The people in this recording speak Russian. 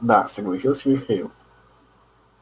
да согласился михаил